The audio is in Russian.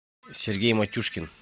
сергей матюшкин